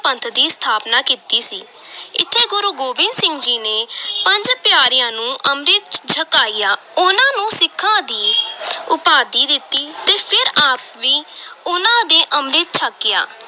ਪੰਥ ਦੀ ਸਥਾਪਨਾ ਕੀਤੀ ਸੀ ਇੱਥੇ ਗੁਰੂ ਗੋਬਿੰਦ ਸਿੰਘ ਜੀ ਨੇ ਪੰਜ ਪਿਆਰਿਆਂ ਨੂੰ ਅੰਮ੍ਰਿਤ ਛਕਾਇਆ ਉਨ੍ਹਾਂ ਨੂੰ ਸਿੱਖਾਂ ਦੀ ਉਪਾਧੀ ਦਿੱਤੀ ਤੇ ਫਿਰ ਆਪ ਵੀ ਉਨ੍ਹਾਂ ਦੇ ਅੰਮ੍ਰਿਤ ਛਕਿਆ।